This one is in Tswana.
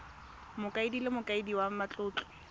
mokaedi le mokaedi wa matlotlo